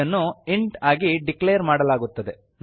ಇದನ್ನು ಇಂಟ್ ಆಗಿ ಡಿಕ್ಲೇರ್ ಮಾಡಲಾಗುತ್ತದೆ